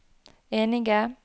enige